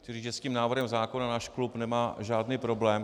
Chci říci, že s tím návrhem zákona náš klub nemá žádný problém.